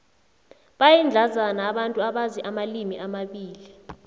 bayindlandzana abantu abazi amalimi amabili